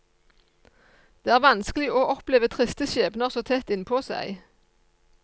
Det er vanskelig å oppleve triste skjebner så tett innpå seg.